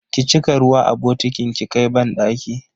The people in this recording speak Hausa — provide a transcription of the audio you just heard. Ki cika ruwa a bokitin ki kai banɗaki!